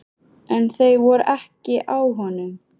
En þau voru ekki á honum!